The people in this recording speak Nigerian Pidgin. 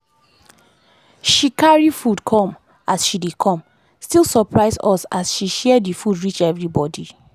she carry food come as she dey come still surpise us as she share the food reach everybody.